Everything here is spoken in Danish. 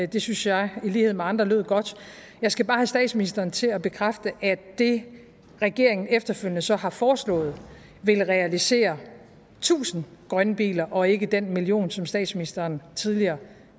det synes jeg i lighed med andre lød godt jeg skal bare have statsministeren til at bekræfte at det regeringen efterfølgende så har foreslået vil realisere tusind grønne biler og ikke den million som statsministeren tidligere